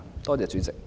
多謝代理主席。